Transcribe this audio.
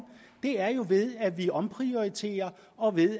ved at vi omprioriterer og ved